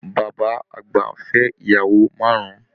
Bàbá àgbà fẹ ìyàwó márùn.